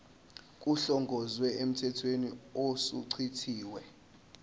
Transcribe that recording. kuhlongozwe emthethweni osuchithiwe